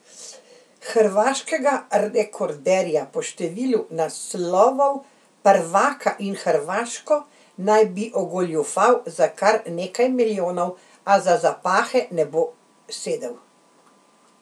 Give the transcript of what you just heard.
Hrvaškega rekorderja po številu naslovov prvaka in Hrvaško naj bi ogoljufal za kar nekaj milijonov, a za zapahe ne bo sedel.